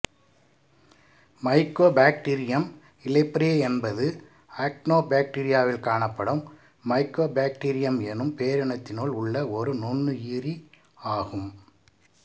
Mycobacterium leprae என்பது ஆக்டினோபாக்டீரியாவில் காணப்படும் மைக்கோபாக்டீரியம் என்னும் பேரினத்தினுள் உள்ள ஒரு நுண்ணுயிரி ஆகும்